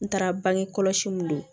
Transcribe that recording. N taara bange kɔlɔsi mun don